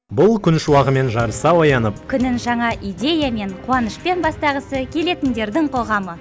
бұл күн шуағымен жарыса оянып күнін жаңа идеямен қуанышпен бастағысы келетіндердің қоғамы